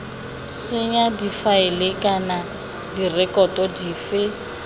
senya difaele kana direkoto dife